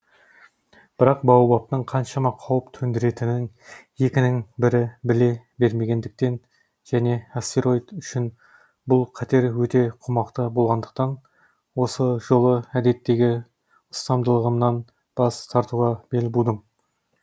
бірақ баобабтың қаншама қауіп төндіретінін екінің бірі біле бермегендіктен және астероид үшін бұл қатер өте қомақты болғандықтан осы жолы әдеттегі ұстамдылығымнан бас тартуға бел будым